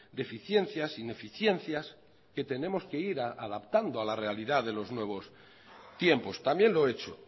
deficiencias ineficiencias que tenemos que ir adaptando a la realidad de los nuevos tiempos también lo he hecho